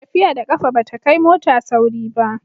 tafiya da ƙafa ba ta kai mota sauri ba